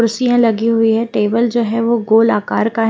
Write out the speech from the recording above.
कुर्सियां लगी हुई है टेबल जो है वो गोल आकार का है।